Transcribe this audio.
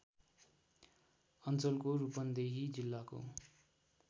अञ्चलको रूपन्देही जिल्लाको